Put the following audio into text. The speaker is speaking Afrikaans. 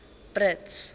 brits